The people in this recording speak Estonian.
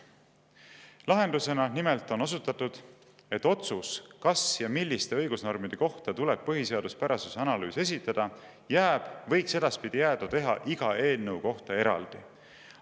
Lahendusena nimelt on osutatud: "Otsus, kas ja milliste õigusnormide kohta tuleb põhiseaduspärasuse analüüs esitada, jääb teha iga eelnõu kohta eraldi.